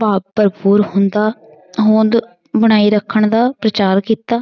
ਭਾਵ ਭਰਪੂਰ ਹੁੰਦਾ ਹੋਂਦ ਬਣਾਈ ਰੱਖਣ ਦਾ ਪ੍ਰਚਾਰ ਕੀਤਾ